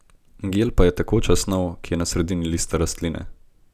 Gel pa je tekoča snov, ki je v sredini lista rastline.